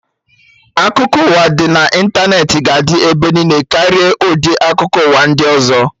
Akụkọ ụwa dị na ịntanetị ga adị ebe niile karịa ụdị akụkọ ụwa ndị ọzọ